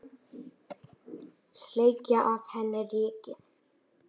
Sleikja af henni rykið.